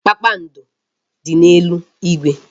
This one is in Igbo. Kpakpando dị n'eluigwe.